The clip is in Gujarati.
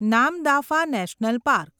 Namdapha national park